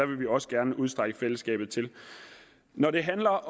vil vi også gerne udstrække fællesskabet til når det handler